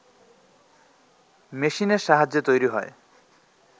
মেশিনের সাহায্যে তৈরি হয়